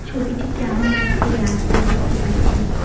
ছবিটিতে আমরা একটি রাস্তা দেখতে পাচ্ছি।